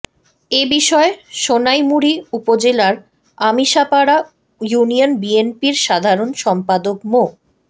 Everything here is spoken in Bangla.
এ বিষয়ে সোনাইমুড়ী উপজেলার আমিশাপাড়া ইউনিয়ন বিএনপির সাধারণ সম্পাদক মো